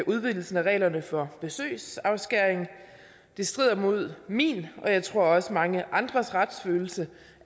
udvidelsen af reglerne for besøgsafskæring det strider imod min og jeg tror også mange andres retsfølelse